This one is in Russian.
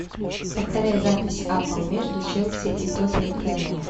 повторяй запись апл между челси и тоттенхэмом